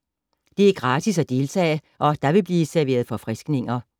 Det er gratis at deltage, og der vil blive serveret forfriskninger.